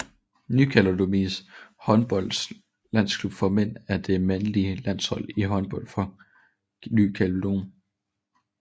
Ny Kaledoniens håndboldlandshold for mænd er det mandlige landshold i håndbold for Ny Kaledonien